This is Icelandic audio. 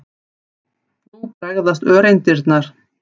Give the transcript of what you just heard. Nú bregðast öreindirnar.